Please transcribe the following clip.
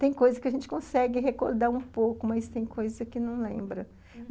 Tem coisa que a gente consegue recordar um pouco, mas tem coisa que não lembra.